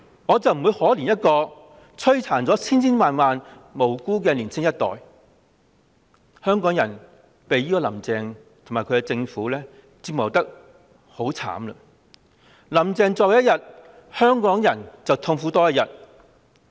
我不會可憐一個摧殘了千千萬萬無辜年青一代的人，香港人被"林鄭"及其政府折磨得很悽慘，"林鄭"在位多一天，香港人便痛苦多一天。